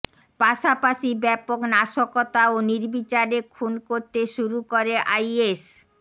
পাশাপাশি ব্যাপক নাশকতা ও নির্বিচারে খুন করতে শুরু করে আইএস